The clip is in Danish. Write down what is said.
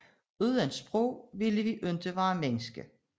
Uden sprog ville vi ikke være mennesker